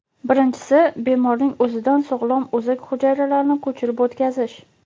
Birinchisi bemorning o‘zidan sog‘lom o‘zak hujayralarni ko‘chirib o‘tkazish.